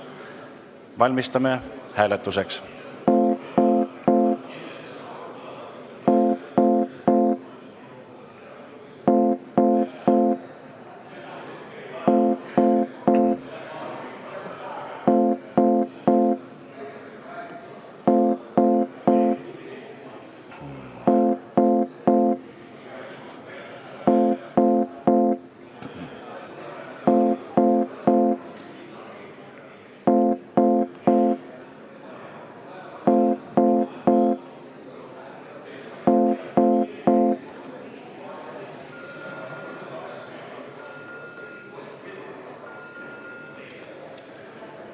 Valmistume hääletuseks.